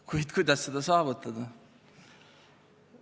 Kuid kuidas seda saavutada?